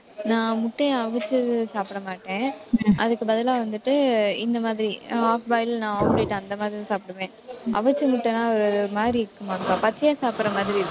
நான், முட்டையை அவிச்சு சாப்பிட மாட்டேன். அதுக்கு பதிலா வந்துட்டு இந்த மாதிரி half boil நான் omelette அந்த மாதிரிதான் சாப்பிடுவேன் அவிச்ச முட்டைன்னா ஒரு மாதிரி இருக்குமா, பச்சையா சாப்பிடுற மாதிரி இருக்கு